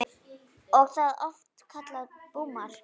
Er það oft kallað búmark.